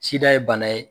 Sida ye bana ye